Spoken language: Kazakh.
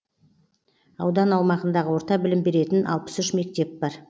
аудан аумағындағы орта білім беретін алпыс үш мектеп бар